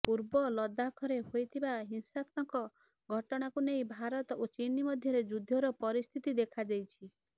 ପୂର୍ବ ଲଦାଖରେ ହୋଇଥିବା ହିସାଂତ୍ମକ ଘଟଣାକୁ ନେଇ ଭାରତ ଓ ଚୀନ୍ ମଧ୍ୟରେ ଯୁଦ୍ଧର ପରିସ୍ଥିତି ଦେଖାଦେଇଛି